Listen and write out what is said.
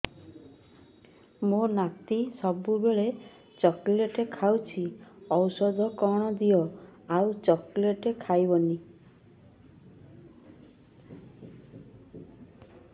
ମୋ ନାତି ସବୁବେଳେ ଚକଲେଟ ଖାଉଛି ଔଷଧ କଣ ଦିଅ ଆଉ ଚକଲେଟ ଖାଇବନି